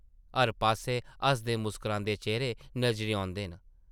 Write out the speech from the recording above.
हर पास्सै हसदे मुस्करांदे चेह्रे नज़री औंदे न ।